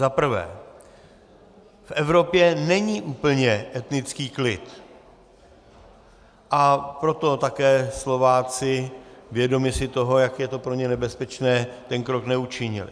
Zaprvé, v Evropě není úplně etnický klid, a proto také Slováci, vědomi si toho, jak je to pro ně nebezpečné, ten krok neučinili.